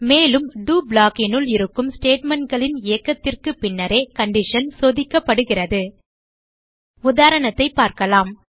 மேலும் do block னுள் இருக்கும் statementகளின் இயக்கத்திற்கு பின்னரே கண்டிஷன் சோதிக்கப்படுகிறது உதாரணத்தைப் பார்க்கலாம்